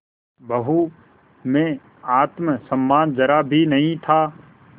बहू में आत्म सम्मान जरा भी नहीं था